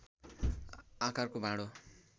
आकारको भाँडो